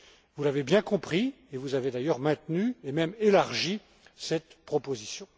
Vous l'avez bien compris et vous avez d'ailleurs maintenu et même élargi cette proposition.